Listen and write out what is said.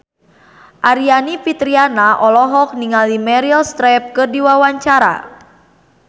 Aryani Fitriana olohok ningali Meryl Streep keur diwawancara